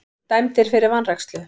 Dæmdir fyrir vanrækslu